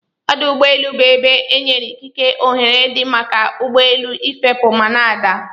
Ọdụ ụgbọ elu bu ebe enyere ikike ohere di maka ugbọelu ifepu mana adaa.